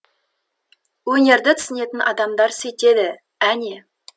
өнерді түсінетін адамдар сөйтеді әне